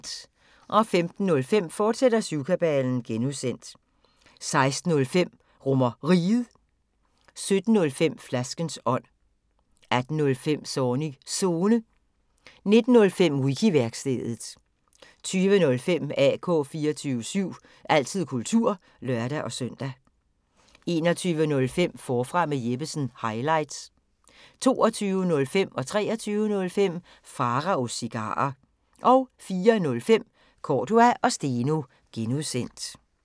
15:05: Syvkabalen (G), fortsat 16:05: RomerRiget 17:05: Flaskens ånd 18:05: Zornigs Zone 19:05: Wiki-værkstedet 20:05: AK 24syv – altid kultur (lør-søn) 21:05: Forfra med Jeppesen – highlights 22:05: Pharaos Cigarer 23:05: Pharaos Cigarer 04:05: Cordua & Steno (G)